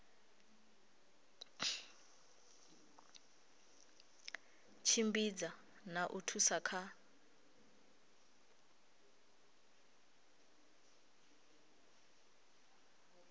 tshimbidza na u thusa kha